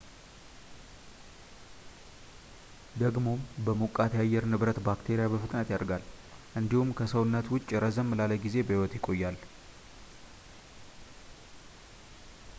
ደግሞም በሞቃት የአየር ንብረት ባክቴሪያ በፍጥነት ያድጋል እንዲሁም ከሰውነት ውጭ ረዘም ላለ ጊዜ በህይወት ይቆያል